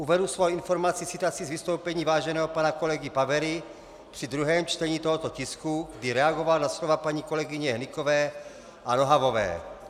Uvedu svou informaci citací z vystoupení váženého pana kolegy Pavery při druhém čtení tohoto tisku, kdy reagoval na slova paní kolegyně Hnykové a Nohavové.